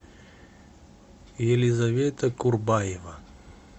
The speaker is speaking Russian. елизавета курбаева